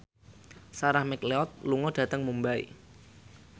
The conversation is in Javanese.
Sarah McLeod lunga dhateng Mumbai